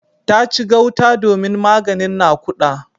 Ta ci gauta domin maganin nakuda.